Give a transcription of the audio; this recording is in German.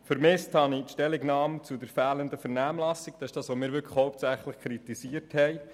Vermisst habe ich die Stellungnahme zur fehlenden Vernehmlassung, nämlich zu dem, was wir hauptsächlich kritisieren.